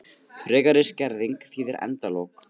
Frekari skerðing þýðir endalok